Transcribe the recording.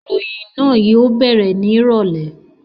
Ìròyìn náà yóò bẹ̀rẹ̀ ní ìrọ̀lẹ́